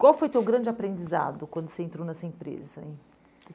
Qual foi o teu grande aprendizado quando você entrou nessa empresa?